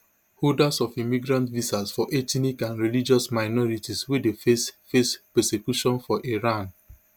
holders of immigrant visas for ethnic and religious minorities wey dey face face persecution for iran